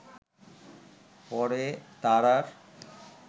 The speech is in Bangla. পরে তার আর